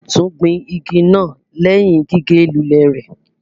A ò tún gbìn ìgi naa lẹhin gige lù lẹ rẹ